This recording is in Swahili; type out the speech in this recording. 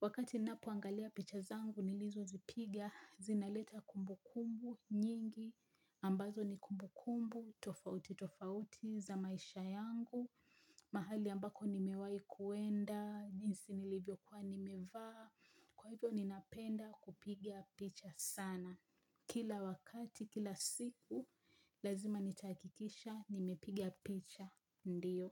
wakati napoangalia picha zangu nilizozipigia zinaleta kumbu kumbu nyingi ambazo ni kumbu kumbu tofauti tofauti za maisha yangu mahali ambako nimewai kuenda jinsi nilivyokuwa nimevaa kwa hivyo ninapenda kupiga picha sana kila wakati kila siku. Lazima nitahakikisha, nimepiga picha, ndiyo.